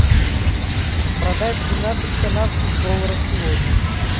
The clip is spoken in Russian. продать двенадцать канадских долларов сегодня